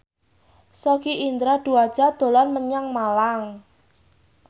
Sogi Indra Duaja dolan menyang Malang